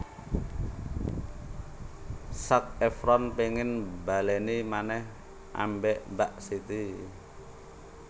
Zac Efron pengen mbaleni maneh ambek Mbak Siti